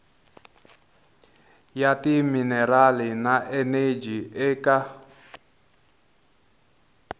ya timinerali na eneji eka